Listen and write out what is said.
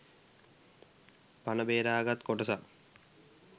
පණ බේරාගත් කොටසක්